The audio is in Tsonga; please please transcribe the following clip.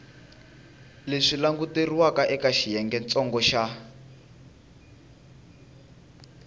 leswi languteriwaka eka xiyengentsongo xa